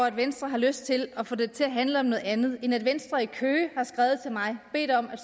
at venstre har lyst til at få det til at handle om noget andet end at venstre i køge har skrevet til mig bedt om at